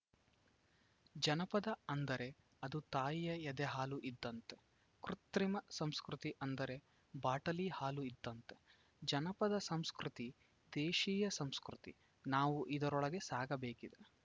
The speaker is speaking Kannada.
ಜನಪದ ಅಂದರೆ ಅದು ತಾಯಿಯ ಎದೆ ಹಾಲು ಇದ್ದಂತೆ ಕೃತ್ರಿಮ ಸಂಸ್ಕೃತಿ ಅಂದರೆ ಬಾಟಲಿ ಹಾಲು ಇದ್ದಂತೆ ಜನಪದ ಸಂಸ್ಕೃತಿ ದೇಶಿಯ ಸಂಸ್ಕೃತಿ ನಾವು ಇದರೊಳಗೆ ಸಾಗಬೇಕಿದೆ